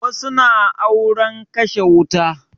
Wasu na auren kashe wuta